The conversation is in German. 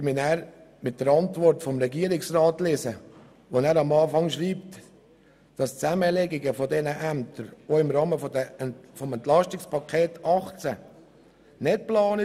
Am Anfang seiner Antwort schreibt der Regierungsrat, die Zusammenlegung dieser Ämter sei nicht im Rahmen des Entlastungspakets 2018 geplant.